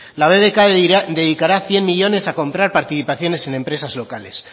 la bbk dedicará cien millónes a comprar participaciones en empresas locales